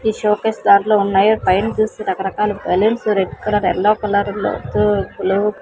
ఈ షోకేస్ దాంట్లో ఉన్నాయి పైన చూస్తే రకరకాల బెలూన్సు రెడ్ కలర్ ఎల్లో కలర్లో --